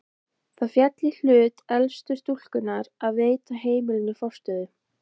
Það féll í hlut elstu stúlkunnar að veita heimilinu forstöðu.